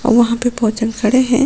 वहां पे बहोजन खड़े हैं।